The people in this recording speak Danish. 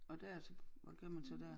Og der så hvad gør man så dér